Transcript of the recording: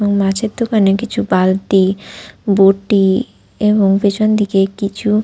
এবং মাছের দোকানে কিছু বালতি বটি এবং পেছনদিকে কিছু--